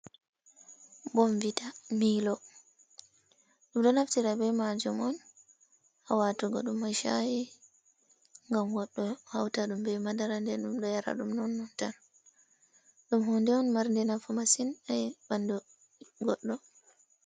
Bonvita milo ɗum ɗo naftira bei majum on ha watugo ɗum a shayi gam goɗɗo hauta ɗum bei madara, nden ɗum ɗo yara ɗum non non tan ɗum hunde on marde nafu masin ha ɓandu goɗɗo.